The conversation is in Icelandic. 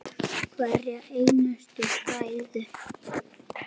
Hverja einustu hræðu!